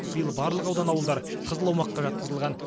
биыл барлық аудан ауылдар қызыл аумаққа жатқызылған